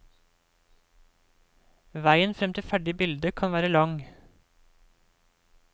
Veien frem til ferdig bilde kan være lang.